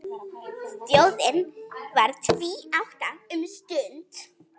Þjóðin varð tvíátta um stund.